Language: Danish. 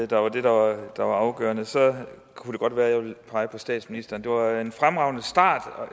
der var det der var afgørende så kunne det godt være at jeg ville pege på statsministeren det var en fremragende start